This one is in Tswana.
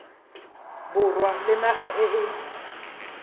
borwa le naga e e